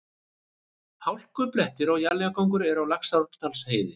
Hálkublettir og éljagangur eru á Laxárdalsheiði